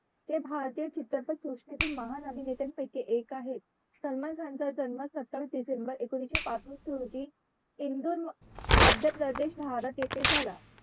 ते भारतीय चित्रपट सृष्टीतील एक महानायकांपैकी एक आहे सलमान खान चा जन्म सत्तावीस डिसेम्बर एकोणविशे पासष्ट रोजी indoor madhypradesh bhart